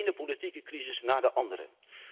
De ene politieke crisis na de andere!